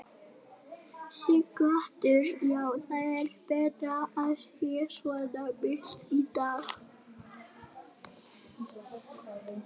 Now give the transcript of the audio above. Sighvatur: Já, það er betra að það sé svona milt í dag?